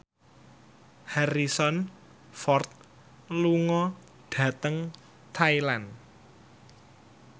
Harrison Ford lunga dhateng Thailand